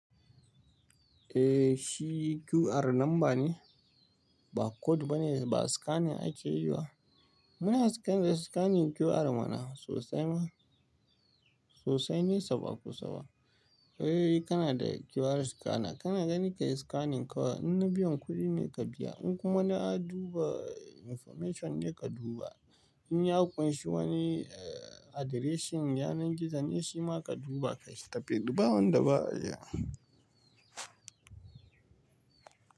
Eh, shi QR namba ne, ba code bane ba scanning ake yi ba. Muna scan da scanning QR mana sosai ma sosai nesa ba kusaba. Ai kana da QR scanner, kana gani ka yi scanning kawai. In na biyan kuɗi ne ka biya, in kuma na duba information ne ka duba. In ya kunshi wani eh addressing, yanar gizo ne shi ma ka duba ka shiga bawan da ba ya.